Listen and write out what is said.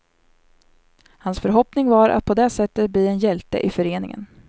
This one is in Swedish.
Hans förhoppning var att på det sättet bli en hjälte i föreningen.